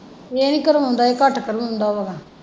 ਇਹ ਨਹੀਂ ਕਰਾਉਂਦਾ ਇਹ ਘੱਟ ਕਰਾਉਂਦਾ ਵਾ।